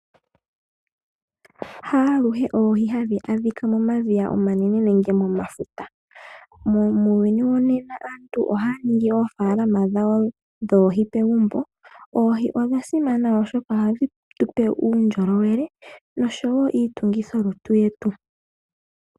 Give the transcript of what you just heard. Haaluhe oohi hadhi adhika momadhiya omanene nenge momafuta. Muuyuni wonena aantu ohaya ningi oofaalama dhawo dhoohi pegumbo. Oohi odha simana oshoka ohadhi tupe uundjolowele noshowo iitungithilutu yetu.